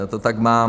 Já to tak mám.